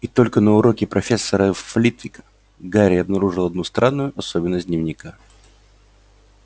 и только на уроке профессора флитвика гарри обнаружил одну странную особенность дневника